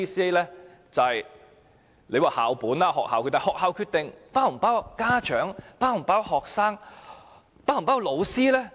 當局指這是校本政策，但學校的決定是否包括家長、學生和教師？